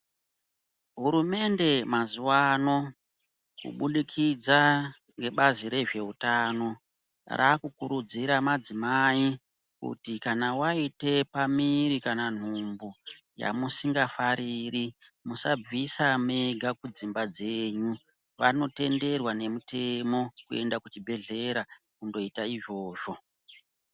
Hurumende mazuwano kubudikidza ngebazi rezveutano rakukurudzira madzimai kuti kana waite pamuiri kana nhumbu yamusingafariri musabvise mega kudzimba dzenyu vanotenderwa nemutemo kuenda kuchibhedhleya koita izvozvo.